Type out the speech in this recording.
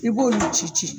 I b'olu ci ci